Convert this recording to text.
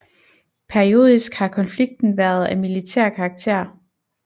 Periodisk har konflikten været af militær karakter